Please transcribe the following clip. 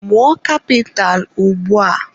Mụọ kapitalụ ugbua!